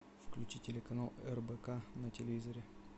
включи телеканал рбк на телевизоре